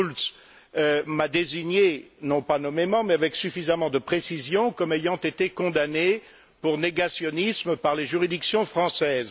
Schulz m'a désigné, non pas nommément mais avec suffisamment de précision, comme ayant été condamné pour négationnisme par les juridictions françaises.